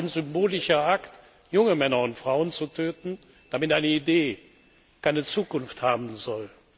Auch ein symbolischer Akt, junge Männer und Frauen zu töten, damit eine Idee keine Zukunft haben soll!